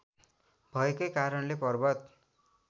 भएकै कारणले पर्वत